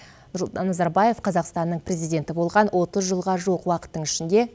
нұрсұлтан назарбаев қазақстанның президенті болған отыз жылға жуық уақыттың ішінде